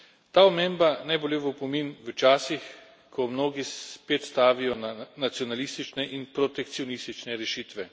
Ta omemba naj bo le v opomin v časih, ko mnogi spet stavijo na nacionalistične in protekcionistične rešitve.